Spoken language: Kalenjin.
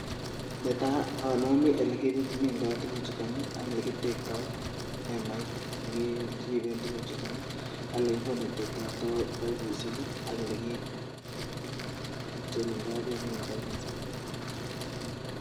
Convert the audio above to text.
Netai aname olekimindoi tuguk chuton ak olekitebtoi emait nekeriben tukuk chuton ak olekikonetendoi baibut mising akolekicherundoi bek en baibushek